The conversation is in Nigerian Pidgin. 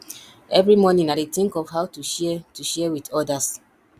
every morning i dey think of how to share to share with others